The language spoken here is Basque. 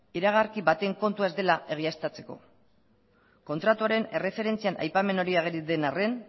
iragarki baten kontua ez dela egiaztatzeko kontratuaren erreferentzian aipamen hori ageri den arren